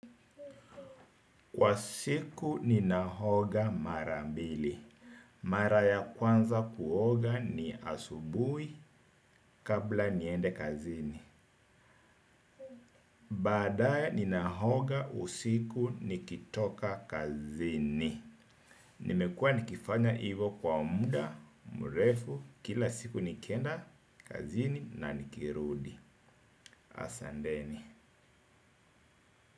Kwa siku ni nahoga mara mbili. Mara ya kwanza kuoga ni asubuhi kabla niende kazini. Baadaye ni nahoga usiku ni kitoka kazini. Nimekua nikifanya hivyo kwa muda mrefu kila siku nikienda kazini na nikirudi. Asanteni.